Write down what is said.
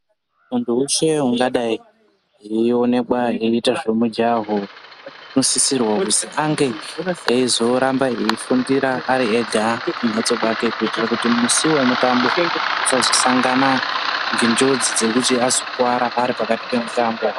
Muntu weshe ungadai eionekwa eiita zvemijaho unosisirwa kuzi ange eizoramba eifundira ari ega kumbatso kwake kuitira kuti musi wemutambo asazosangana nenjodzi dzekuti azokuwara aripakati pemitambo.